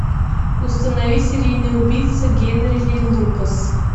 установи серийный убийца генри ли лукас